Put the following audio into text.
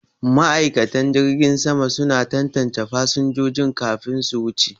Ma'aikatan jirgin sama suna tantance fasinjojin kafin su wuce.